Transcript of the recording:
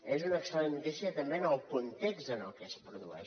és una excel·lent notícia també en el context en el que es produeix